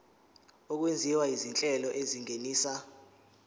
okwenziwa izinhlelo ezingenisa